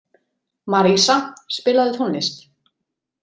Marísa, spilaðu tónlist.